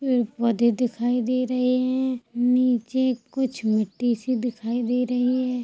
पेड़ - पौधे दिखाई दे रहे है निचे कुछ मिट्टी सी दिखाई दे रही हैं ।